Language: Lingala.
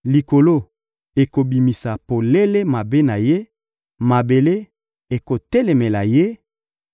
Likolo ekobimisa polele mabe na ye, mabele ekotelemela ye;